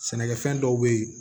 Sɛnɛkɛfɛn dɔw be ye